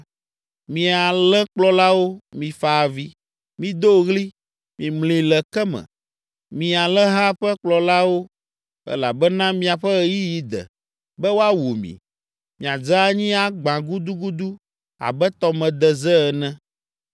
Mi alẽkplɔlawo, mifa avi, mido ɣli, mimli le ke me, mi alẽha ƒe kplɔlawo. Elabena miaƒe ɣeyiɣi de, be woawu mi, miadze anyi agbã gudugudu abe tɔmedeze ene.